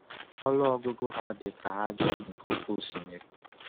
Ọnụ ọgụgụ ha dị ka ájá nke oké osimiri.”